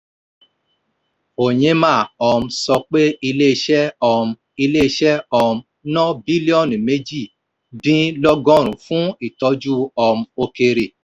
onyema um sọ pé ilé iṣẹ́ um ilé iṣẹ́ um ná bílíọ̀nù méjì-dín-lọ́gọ́rin fún ìtọ́jú um òkèèrè.